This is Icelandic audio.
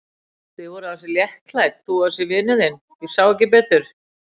Þið voruð ansi léttklædd, þú og þessi vinur þinn, ég sá ekki betur.